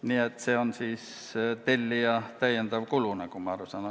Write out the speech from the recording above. Nii et see on tellija jaoks täiendav kulu, nagu ma aru saan.